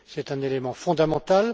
C'est un élément fondamental.